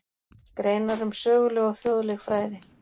Greinar um söguleg og þjóðleg fræði.